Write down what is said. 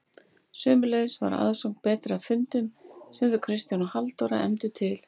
Sömuleiðis var aðsókn betri að fundum sem þau Kristján og Halldóra efndu til.